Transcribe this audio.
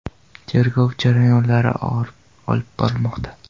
Tergov jarayonlari olib borilmoqda.